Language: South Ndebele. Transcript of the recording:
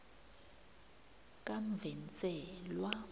kamvenselwa